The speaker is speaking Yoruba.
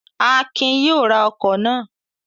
Akin yóò ra ọkọ̀ náà!